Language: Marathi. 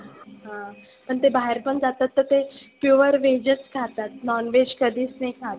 हं पण ते बाहेर पण जातात तर ते pure veg च खातात. non veg कधीच नाही खात.